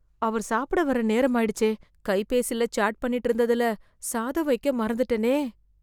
அவர் சாப்பிட வர்ற நேரமாயிடுச்சே... கைபேசில சாட் பண்ணிட்டு இருந்ததுல, சாதம் வைக்க மறந்துட்டேனே....